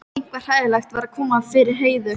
Eitthvað hræðilegt var að koma fyrir Heiðu.